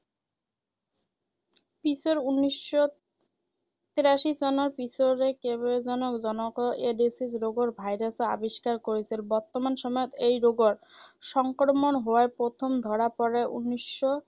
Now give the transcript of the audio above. পিছৰ উনৈশ শ তিৰাশী চনত পিছৰে কেইবাজনো জনক এইড্‌ছ ৰোগৰ ভাইৰাছ আৱিষ্কাৰ কৰিছিল ৷ বৰ্তমান সময়ত এই ৰোগৰ সংক্ৰমণ হোৱাৰ প্ৰথম ধৰা পৰে উনৈশ শ